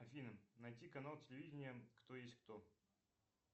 афина найти канал телевидения кто есть кто